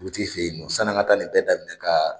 Dugutigi fɛ ye nɔ san'an ka taa nin bɛɛ daminɛ ka